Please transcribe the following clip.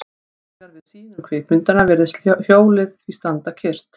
Þegar við sýnum kvikmyndina virðist hjólið því standa kyrrt.